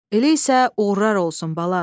Elə isə uğurlar olsun, bala.